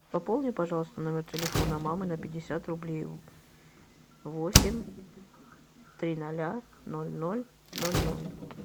пополни пожалуйста номер телефона мамы на пятьдесят рублей восемь три ноля ноль ноль ноль ноль